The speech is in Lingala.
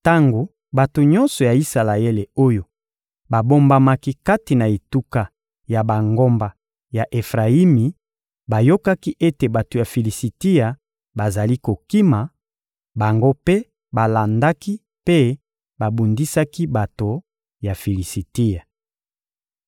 Tango bato nyonso ya Isalaele oyo babombamaki kati na etuka ya bangomba ya Efrayimi bayokaki ete bato ya Filisitia bazali kokima, bango mpe balandaki mpe babundisaki bato ya Filisitia.